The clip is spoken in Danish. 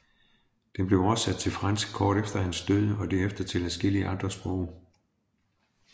Den blev oversat til fransk kort efter hans død og derefter til adskillige andre sprog